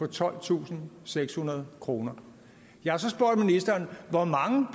tolvtusinde og sekshundrede kroner jeg har så spurgt ministeren hvor mange